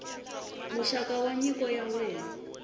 muxaka wa nyiko ya wena